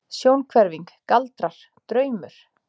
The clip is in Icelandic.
Sjónhverfing, galdrar, draumur?